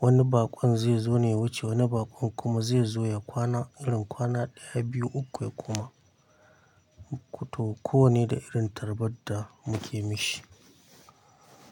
Wani baƙon zaizo ne wuce wani baƙon kuma zaizo ya kwana irin kwana ɗaya, biyu, uku ya koma. To kowanne da irin tarbadda muke mishi.